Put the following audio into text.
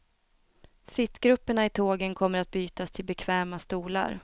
Sittgrupperna i tågen kommer att bytas till bekväma stolar.